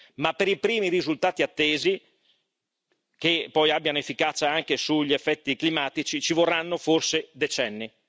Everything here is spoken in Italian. Ma per i primi risultati attesi, che poi abbiano efficacia anche sugli effetti climatici ci vorranno forse decenni.